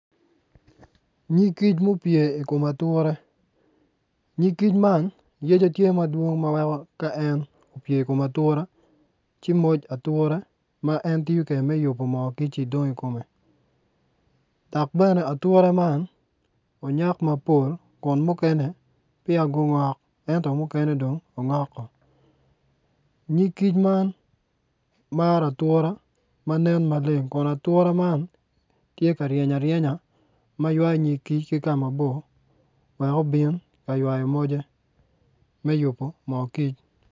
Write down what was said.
Nyig kic ma opye i kom ature nyig kic man yec kome tye madwongo ma weko ka en opye i kom ature ci muc ature ma en tiyo kwede me yubo moo dong i kome dok bene ature man onyak mapol kun mukene peya ongok ento mukene ongok woko nyig kic man maro ature ma nen maleng.